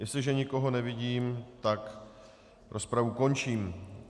Jestliže nikoho nevidím, tak rozpravu končím.